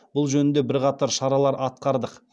бұл жөнінде бірқатар шаралар атқардық